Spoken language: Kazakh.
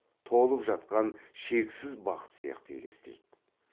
толып жатқан шексіз бақыт сияқты елестейді